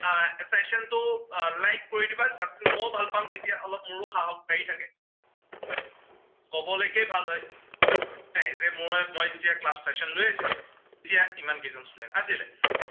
আহ session টো like কৰি দিবা। মইও ভাল পাম তেতিয়া, অলপ মোৰো সাহস বাঢ়ি থাকে। কবলেকে ভাল হয়। যে মই মই যেতিয়া class session লৈ আছিলো, ইমান কেইজন students আছিলে।